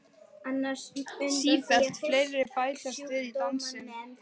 Sífellt fleiri bætast við í dansinn.